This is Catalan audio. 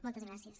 moltes gràcies